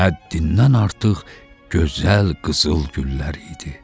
Həddindən artıq gözəl qızıl güllər idi.